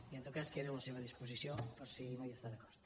i en tot cas quedo a la seva disposició per si no hi està d’acord